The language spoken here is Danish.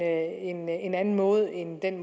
en en anden måde end den